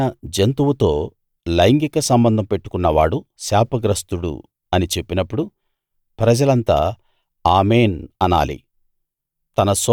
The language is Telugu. ఏదైనా జంతువుతో లైంగిక సంబంధం పెట్టుకున్నవాడు శాపగ్రస్తుడు అని చెప్పినప్పుడు ప్రజలంతా ఆమేన్‌ అనాలి